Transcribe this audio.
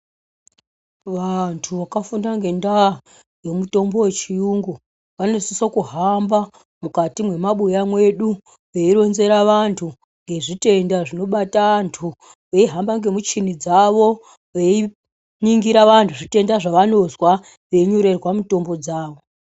Vantu vakafunda ngendaa yemutombo wechiyungu vanosise kuhamba mukati mwemabuya mwedu veironzera vantu ngezvitenda zvinobata vantu, veihamba ngemuchini dzavo veiningira vantu zvitenda zvevanozwa veinyorerwa mutombo dzavo.